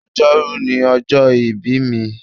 Ọjọ́rú ni ọjọ́ ìbí mi.